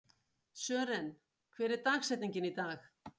Sören, hver er dagsetningin í dag?